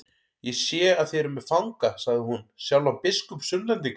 Ég sé þið eruð með fanga, sagði hún, sjálfan biskup Sunnlendinga.